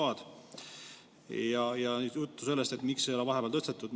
Oli juttu sellest, miks ei ole vahepeal tõstetud.